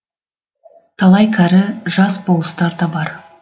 талай кәрі жас болыстар да бар